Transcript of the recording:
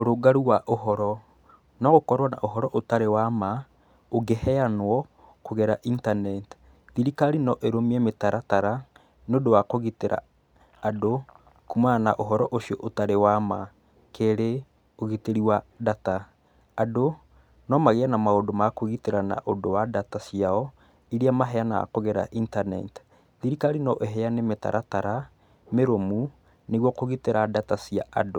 Ũrũngaru wa ũhoro no ũkorwo na ũhoro ũtarĩ wa ma ũngĩheanwo kũgerera intaneti. Thirikari no ĩrũmie mĩtaratara nĩ ũndũ wa kũgitĩra andũ kũmana na ũhoro ũcio ũtarĩ wa ma. Keri ũgitĩri wa ndata, andũ no magĩe na maũndũ ma kwĩgitĩra na ũndũ wa ndata ciao, iria maheanaga kũgera intaneti. Thirikari no ĩheane mĩtaratara mĩrũmu nĩguo kũgitĩra ndata cia andũ.